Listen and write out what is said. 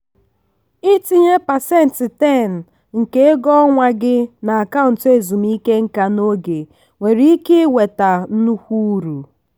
ịtinye pasentị 10 nke ego ọnwa gị n'akaụntụ ezumike nká n'oge nwere ike iweta nnukwu uru.